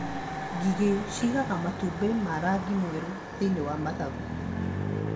Ngigĩ ciĩigaga matumbĩ ma rangi mwerũ thĩiniĩ wa mathangũ.